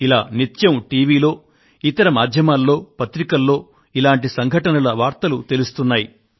ఇలా నిత్యం టీవీలో ఇతర మాధ్యమాలలో పత్రికలలో ఇటువంటి సంఘటనల వార్తలు తెలుస్తున్నాయి